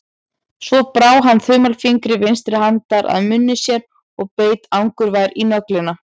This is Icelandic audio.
Svo brá hann þumalfingri vinstri handar að munni sér og beit angurvær í nöglina.